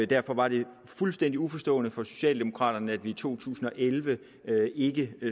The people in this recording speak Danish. derfor var det fuldstændig uforståeligt for socialdemokraterne at vi i to tusind og elleve ikke